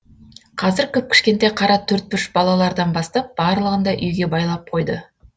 қазір кіп кішкентай қара төртбұрыш балалардан бастап барлығын да үйге байлап қойды